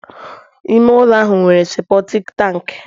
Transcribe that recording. ime ụlọ ahụ nwere seputik tanki